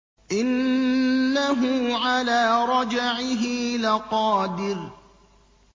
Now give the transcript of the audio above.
إِنَّهُ عَلَىٰ رَجْعِهِ لَقَادِرٌ